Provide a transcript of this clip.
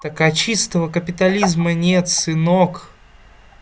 так а чистого капитализма нет сынок